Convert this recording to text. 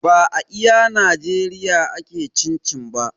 Ba a iya najeriya ake cin cin-cin ba